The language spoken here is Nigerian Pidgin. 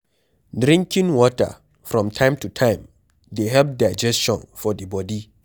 Drinking water from time to time dey help digestion for di bodi